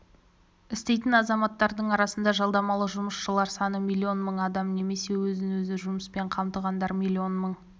істейтін азаматтардың арасында жалдамалы жұмысшылар саны миллион мың адам немесе өзін-өзі жұмыспен қамтығандар млн мың